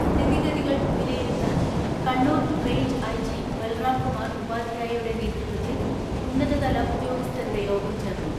സ്ഥിതിഗതികൾ വിലയിരുത്താൻ Kannur range IG Balram Kumar ഉപാധ്യായയുടെ നേതൃത്വത്തിൽ ഉന്നതതല ഉദ്യോഗസ്ഥരുടെ യോഗം ചേർന്നു.